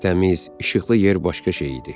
Təmiz, işıqlı yer başqa şey idi.